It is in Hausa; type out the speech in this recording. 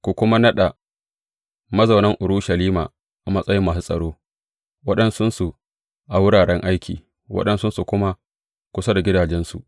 Ku kuma naɗa mazaunan Urushalima a matsayin masu tsaro, waɗansunsu a wuraren aiki, waɗansun kuma kusa da gidajensu.